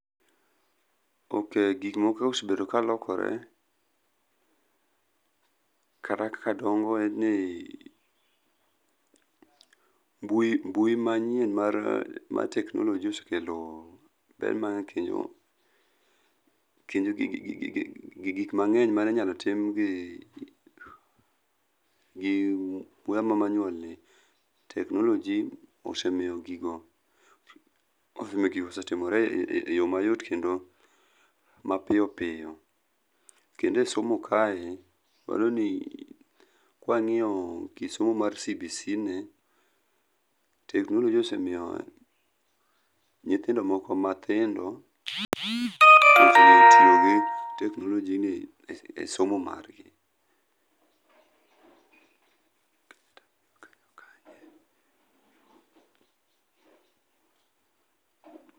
Ok, gik moko osebedo ka lokore, kata kaka dongo en ni ,mbui, mbui manyien mar teknoloji osekelo kendo, kendo gi gik mangeny man einyalo tim gi, gi yoo ma manual gi, technoloji osemiyo gigo, osemiyo gigo otimoree yoo mayot kendo mapiyo piyo. Kendo e somo kae waneno ni e somo mar CBC ni teknoloji osemiyo nyithindo moko matindo osengeyo tiyo gi teknoloji e somo margi.